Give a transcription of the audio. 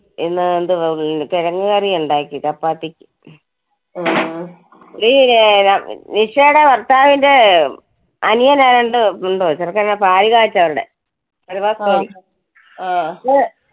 ഇന്ന് അഹ് എന്തുവാ കിഴങ്ങുകറി ഉണ്ടാക്കി ചപ്പാത്തീം. നീ അഹ് നിഷേടെ ഭർത്താവിന്റെ അഹ് അനിയൻ ആരാണ്ടും ഉണ്ടോ ചെറുക്ക, ൻ പാല് കാച്ചാ അവരുടെ പെരവാസ്തോലി. ഏർ